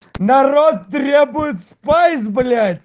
народ требует спайс блядь